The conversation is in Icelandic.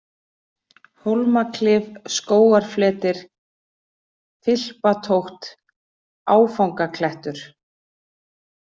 Hólmaklif, Skógarfletir, Filpatótt, Áfangaklettur